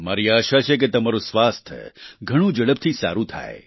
મારી આશા છે કે તમારું સ્વાસ્થ્ય ઘણું ઝડપથી સારું થાય